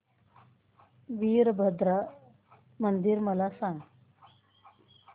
वीरभद्रा मंदिर मला सांग